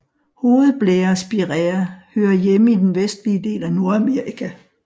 Hovedblærespiræa hører hjemme i den vestlige del af Nordamerika